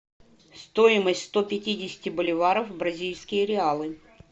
стоимость сто пятидесяти боливаров в бразильские реалы